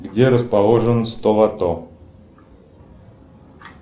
где расположен столото